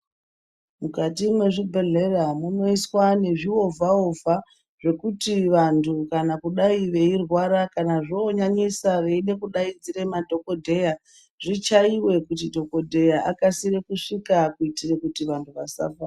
Mukati mwezvibhedhlera munoiswa nezviovha-ovha zvekuti vantu kana kudai veirwara kana zvonyanyisa veide kudai veidaidzira madhogodheya. Zvichaive kuti dhogodheya akasire kusvika kuitire kuti vantu vasafa.